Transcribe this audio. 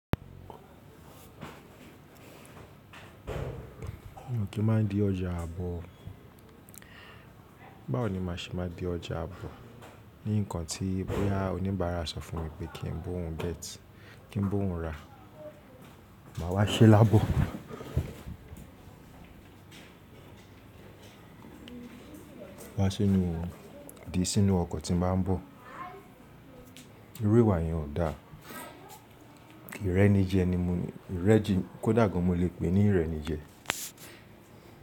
Mi ò kí má di ọjà àbọ̀. Báwo ni màá ṣe má di ọjà àbọ̀ ní nǹkan tí bóyá oníbàárà sọ fún mi pé kí n bó òhun gẹ́tì, kí n bó òhun rà, màá wá ṣẹ́ lábọ̀. Wá sí inú, dìí sínú ọkọ̀ tí màá ń bọ̀. Iru ìwà yẹn ò dáa. Ìrẹ́ni jẹ ni mo ní, ìrẹ́ ji-- kó dàgbà mo lè pè é ní ìrẹ́ni jẹ.